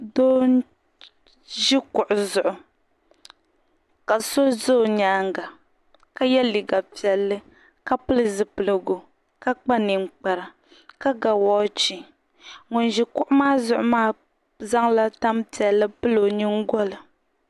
Doo n ʒi kuɣu zuɣu ka so ʒɛ o nyaanga ka yɛ liiga piɛlli ka pili zipiligu ka kpa ninkpara ka ga woochi ŋun ʒi kuɣu maa zuɣu maa zaŋla tanpiɛlli pili o nyingoli